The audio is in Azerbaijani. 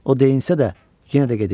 O deyinsə də, yenə də gedib.